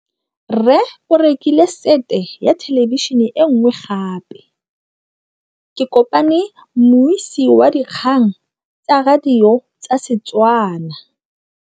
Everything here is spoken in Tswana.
Rre o rekile sete ya thêlêbišênê e nngwe gape. Ke kopane mmuisi w dikgang tsa radio tsa Setswana.